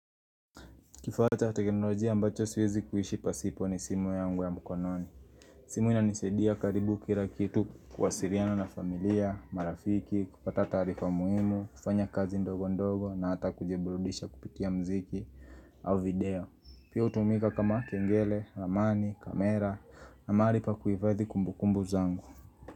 Kifaa cha teknolojia ambacho siwezi kuishi pasipo ni simu yangu ya mkononi simu inanisadia karibu kila kitu kuwasiliana na familia, marafiki, kupata tarifa muhimu, kufanya kazi ndogo ndogo na hata kujiburudisha kupitia mziki au video. Pia hutumika kama kengele, ramani, kamera na mahali pa kuhifadhi kumbukumbu zangu.